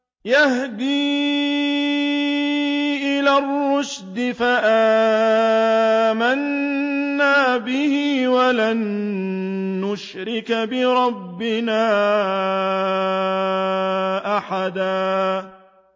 يَهْدِي إِلَى الرُّشْدِ فَآمَنَّا بِهِ ۖ وَلَن نُّشْرِكَ بِرَبِّنَا أَحَدًا